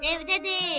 Evdə deyil.